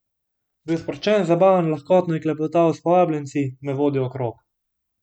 Bil je sproščen, zabaven, lahkotno je klepetal s povabljenci, me vodil okrog.